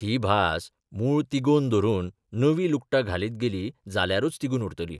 ही भास मूळ तिगोवन धरून नवीं लुगटां घालीत गेली जाल्यारूच तिगून उरतली.